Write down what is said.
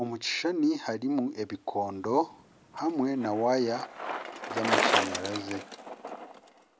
Omu kishushani harimu ebikondo na waaya z'amashanyarazi,